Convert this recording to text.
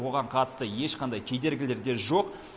оған қатысты ешқандай кедергілер де жоқ